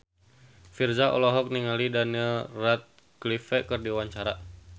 Virzha olohok ningali Daniel Radcliffe keur diwawancara